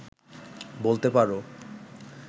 বলতে পারো